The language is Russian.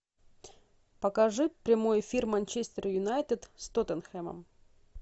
покажи прямой эфир манчестер юнайтед с тоттенхэмом